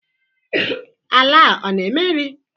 Ala a ọ na-eme nri?